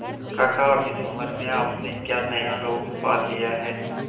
काका अब इस उम्र में आपने क्या नया रोग पाल लिया है